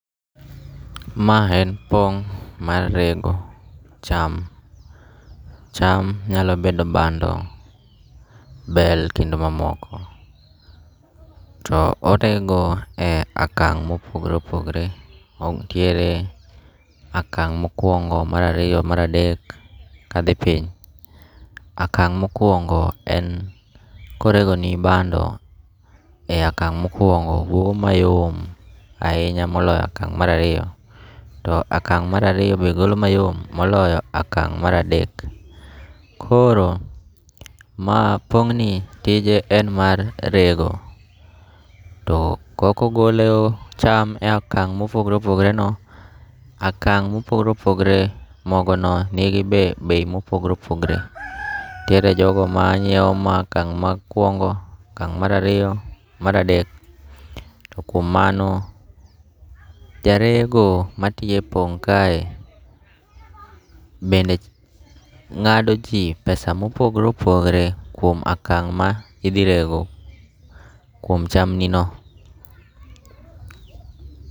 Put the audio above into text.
Ma en pong' mar rego cham, cham nyalo bedo bando, bel kendo mamoko. To orego e akang' mopogore opogore, nitiere akang' mokwongo, marariyo, maradek, ka dhi piny. Akang' mokwongo en koregoni bando e akang' mokwongo wuok mayom ahinya moloyo akang' marariyo. To akang' marariyo be golo mayom moloyo akang' maradek. Koro ma pong'ni tije en mar rego, to kokogoleo cham e akang' mopogore opogore no, akang' mopogore opogore mogo no nigi be bei mopogre opogre. Nitiere jogo ma nyiewo ma akang' mokwongo, akang' marariyo, maradek. To kuom mano, jarego matiye pong' kae bende ng'ado ji pesa mopogore opogore kuom akang' ma idhi rego kuom cham ni no.